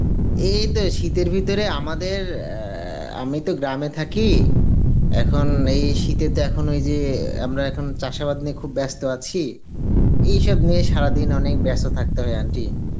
এই তো শীতের ভিতরে আমাদের আ~ আমি তো গ্রাম এ থাকি, এখন এই শীতেতে এখন ঐযে আমরে এখন চাষাবাদ নিয়ে খুব ব্যস্ত আছি এই সব নিয়ে সারাদিন অনেক ব্যস্ত থাকতে হয় aunty